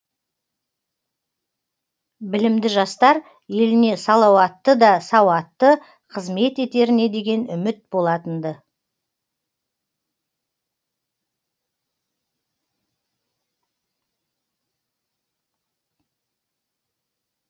білімді жастар еліне салауатты да сауатты қызмет етеріне деген үміт болатын ды